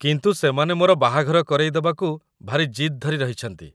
କିନ୍ତୁ ସେମାନେ ମୋର ବାହାଘର କରେଇଦେବାକୁ ଭାରି ଜିଦ୍ ଧରି ରହିଛନ୍ତି ।